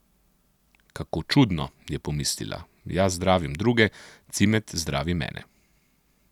Kako čudno, je pomislila, jaz zdravim druge, Cimet zdravi mene.